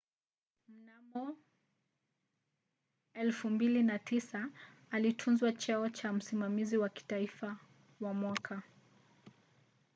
mnamo 2009 alituzwa cheo cha msimamizi wa kitaifa wa mwaka